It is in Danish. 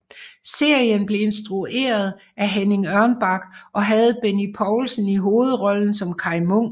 Serien blev instrueret af Henning Ørnbak og havde Benny Poulsen i hovedrollen som Kaj Munk